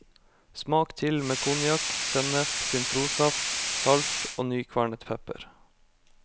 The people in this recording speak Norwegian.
Smak til med konjakk, sennep, sitronsaft, salt og nykvernet pepper.